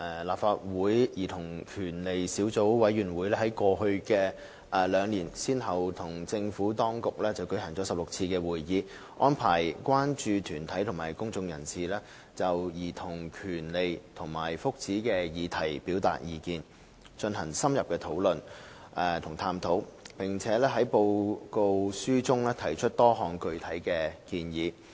立法會兒童權利小組委員會在過去兩年先後與政府當局舉行了16次會議，安排關注團體和公眾人士就兒童權利和福祉的議題表達意見，進行深入的討論和探討，並在其報告書中提出多項具體建議。